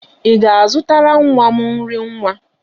Ị ga-azụtara nwa m nri nwa?